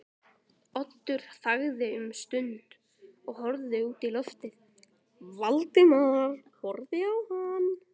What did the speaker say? Oddur þagði um stund og horfði út í lofið, Valdimar horfði á hann.